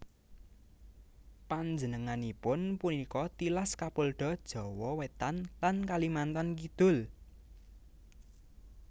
Panjenenganipun punika tilas Kapolda Jawa Wétan lan Kalimantan Kidul